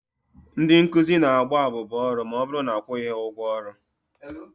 Ndị nkụzi na-agba abụba ọrụ ma ọbụrụ na akwụghị ha ụgwọ ọrụ.